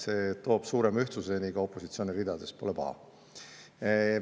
See toob suurema ühtsuse ka opositsiooni ridades – pole paha.